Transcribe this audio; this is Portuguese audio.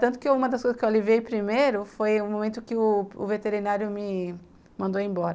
Tanto que uma das coisas que eu aliviei primeiro foi o momento que o o veterinário me mandou embora.